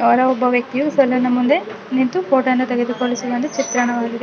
ಯಾವುದೋ ಒಬ್ಬ ವ್ಯಕ್ತಿಯು ಈ ಸಲೂನ್ ನ ಮುಂದೆ ನಿಂತುಕೊಂಡು ಫೋಟೋ ತೆಗೆಸಿಕೊಂಡಿದ್ದಾನೆ ಚಿತ್ರಣವಾಗಿದೆ.